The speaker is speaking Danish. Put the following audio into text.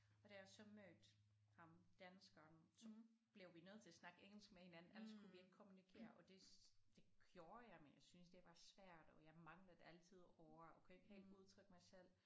Og da jeg så mødte ham danskeren så blev vi nødt til at snakke engelsk med hinanden ellers så kunne vi ikke kommunikere og det det gjorde jeg men jeg synes det var svært og jeg manglede altid ord og kunne ikke helt udtrykke mig selv